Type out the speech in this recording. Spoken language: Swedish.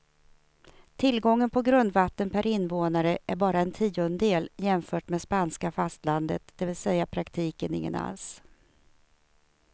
Tillgången på grundvatten per invånare är bara en tiondel jämfört med spanska fastlandet, det vill säga i praktiken ingen alls.